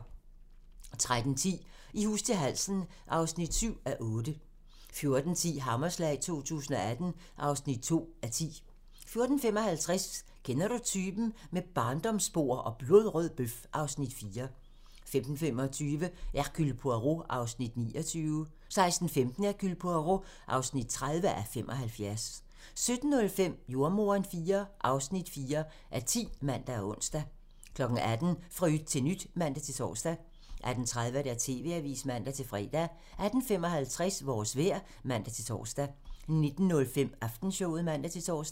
13:10: I hus til halsen (7:8) 14:10: Hammerslag 2018 (2:10) 14:55: Kender du typen? - Med barndomsbord og blodrød bøf (Afs. 4) 15:25: Hercule Poirot (29:75) 16:15: Hercule Poirot (30:75) 17:05: Jordemoderen IV (4:10)(man og ons) 18:00: Fra yt til nyt (man-tor) 18:30: TV-avisen (man-fre) 18:55: Vores vejr (man-tor) 19:05: Aftenshowet (man-tor)